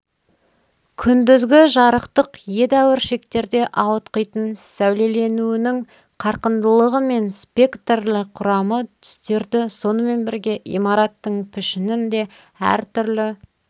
күндізгі жарықтық едәуір шектерде ауытқитын сәулеленуінің қарқындылығы мен спектрлі құрамы түстерді сонымен бірге имараттың пішінін де әртүрлі